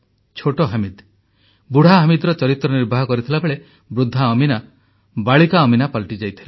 ଛୋଟ ହମିଦ୍ ବୁଢ଼ା ହମିଦର ଚରିତ୍ର ନିର୍ବାହ କରିଥିବାବେଳେ ବୃଦ୍ଧା ଅମୀନା ବାଳିକା ଅମୀନା ପାଲଟିଯାଇଥିଲା